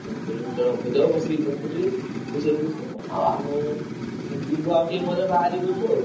ଆଉ ସେଇ ଜୁଗୁରୁ ଜଣଙ୍କୁ କହିଦବ ବସିକି ଦେଖୁଥିବେ। ଆଉ ଆମେ ଯିବୁ ଆଉ ଟିକେ ପରେ ବାହାରିବୁ ଏଠୁ ଆଉ।